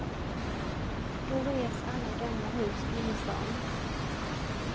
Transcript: Då revs alla gamla hus i innerstan.